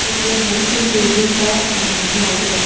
etoye hom me tingpu du wunsa hing hing pu ngai taiga.